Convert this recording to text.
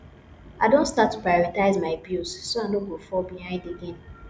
i don start to prioritize my bills so i no go fall behind again